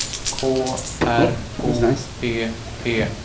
K R O P P